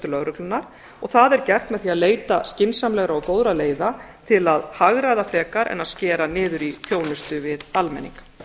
lögreglunnar og það er gert með því að leita skynsamlegra og góðra leiða til að hagræða frekar en að skera niður í þjónustu við almenning